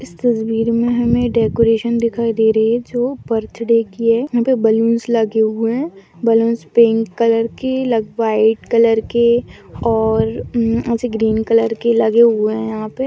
इस तस्वीर में हमें डेकोरेशन दिखाई दे रही है जो बर्थडे की है यहाँ पर बैलून्स लगे हुए हैं बैलून्स पिंक कलर के लग वाइट कलर के और एसे ग्रीन कलर के लगे हुए हैं यहाँ पे।